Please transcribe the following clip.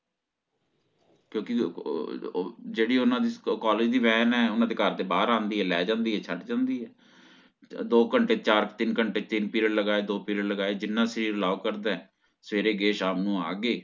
ਕਿਉਕਿ ਅਹ ਅਹ ਜੇਹੜੀ ਓਹਨਾਂ ਦੇ college ਦੀ ਵੇਂਨ ਹੈ ਓਹਨਾਂ ਦੇ ਘਰ ਦੇ ਬਾਹਰ ਆਂਦੀ ਹੈ ਲੈ ਜਾਂਦੀ ਹੈ ਛੱਡ ਜਾਂਦੀ ਹੈ ਦੋ ਘੰਟੇ ਚਾਰ ਤਿਨ ਘੰਟੇ ਤਿਨ period ਲਗਾਏ ਦੋ period ਲਗਾਏ ਜਿਨਾ sir allow ਕਰਦਾ ਸਵੇਰੇ ਗਯੇ ਸ਼ਾਮ ਨੂੰ ਆਗੇ